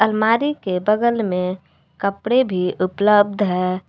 अलमारी के बगल में कपड़े भी उपलब्ध है।